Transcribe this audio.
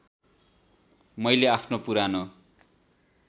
मैले आफ्नो पुरानो